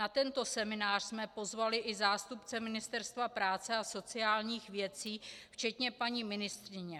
Na tento seminář jsme pozvali i zástupce Ministerstva práce a sociálních věcí včetně paní ministryně.